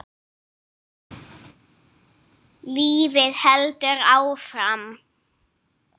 Lífið heldur áfram.